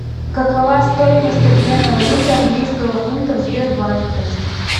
какова стоимость обмена валюты английского фунта в сбербанке